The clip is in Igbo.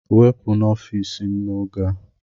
Wepụ n'ọfịs m oge a!